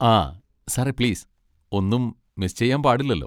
ആ, സാറേ പ്ലീസ്, ഒന്നും മിസ് ചെയ്യാൻ പാടില്ലല്ലോ.